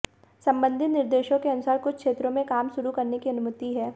संबंधित निर्देशों के अनुसार कुछ क्षेत्रों में काम शुरू करने की अनुमति है